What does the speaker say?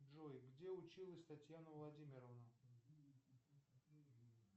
джой где училась татьяна владимировна